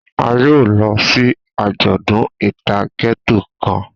A yoo lọ si ajọdun ita Ghetto kan.